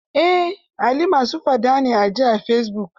Ai Ali ma su faɗa a ji ne a fesibuk.